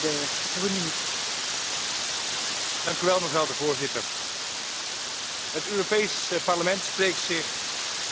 Het Europees Parlement spreekt zich uit voor het gemeenschappelijk maken van de schulden in de eurozone, stapje voor stapje.